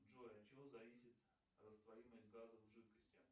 джой от чего зависит растворимость газа в жидкости